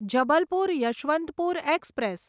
Jabalpur Yashwantpur express